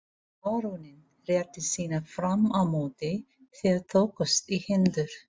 Baróninn rétti sína fram á móti, þeir tókust í hendur.